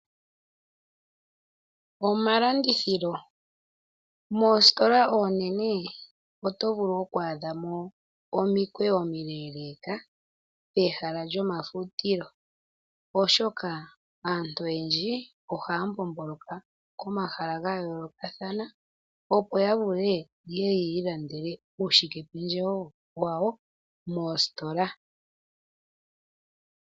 Omalandithilo, Moositola oonene oto vulu oku adhamo omikweyo omileeleka pehala lyomafutilo, oshoka aantu oyendji ohaya mbomboloka komahala ga yoolokathana opo ya vule ye ye yi ilandele uushikependjewo wayo moositola.